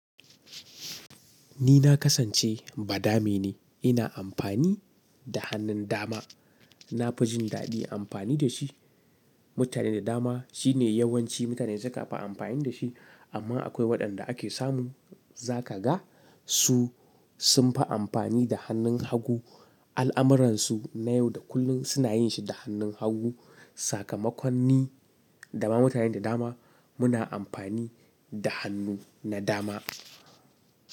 Ni na kasance ba dame ne, ina amfani da hannun dama. Na fi jin daɗi amfani da shi. Mutane da dama shine yawanci mutane su ka fi amfani da shi, amma akwai waɗanda ake samu za ka ga su sun fi amfani da hannun hagu. Al'amuransu na yau da kullum suna yin shi da hannun hagu. Sakamakon ni, dama mutane da dama muna amfani da hannu na dama.